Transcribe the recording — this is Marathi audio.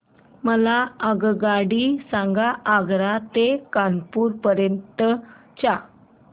मला आगगाडी सांगा आग्रा ते कानपुर पर्यंत च्या